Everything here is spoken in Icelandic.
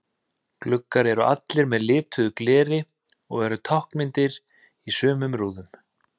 Gluggar eru allir með lituðu gleri og eru táknmyndir í sumum í rúðum.